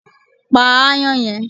Pa aáyán yẹn!